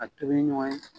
A tobi ɲɔgɔn ye